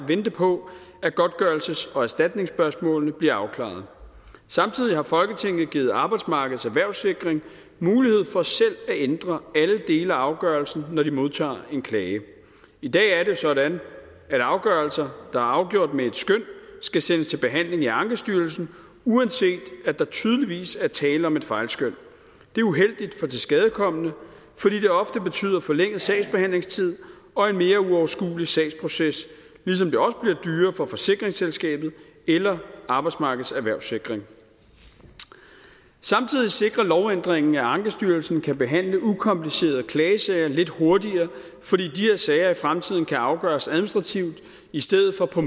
vente på at godtgørelses og erstatningsspørgsmålene bliver afklaret samtidig har folketinget givet arbejdsmarkedets erhvervssikring mulighed for selv at ændre alle dele af afgørelsen når de modtager en klage i dag er det sådan at afgørelser der er afgjort med et skøn skal sendes til behandling i ankestyrelsen uanset at der tydeligvis er tale om et fejlskøn det er uheldigt for den tilskadekomne fordi det ofte betyder forlænget sagsbehandlingstid og en mere uoverskuelig sagsproces ligesom det også bliver dyrere for forsikringsselskabet eller arbejdsmarkedets erhvervssikring samtidig sikrer lovændringen at ankestyrelsen kan behandle ukomplicerede klagesager lidt hurtigere fordi de her sager i fremtiden kan afgøres administrativt i stedet for på